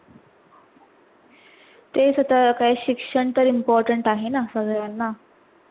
तेच आता काय शिक्षण तर Important आहे ना सगळ्यांना